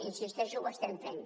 i insisteixo que ho estem fent